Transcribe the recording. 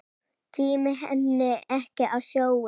Tími henni ekki á sjóinn!